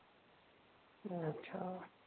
अच्छा.